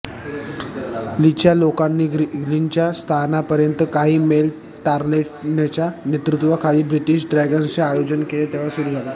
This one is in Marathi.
लीच्या लोकांनी ग्रीलीनच्या स्थानापर्यंत काही मैल तारलेटनच्या नेतृत्वाखाली ब्रिटीश ड्रॅगन्सचे आयोजन केले तेव्हा सुरु झाले